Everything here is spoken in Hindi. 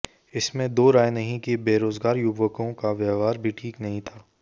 इसमें दो राय नहीं कि बेरोजगार युवकों का व्यवहार भी ठीक नहीं था